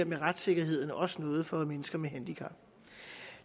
med retssikkerheden også noget for mennesker med handicap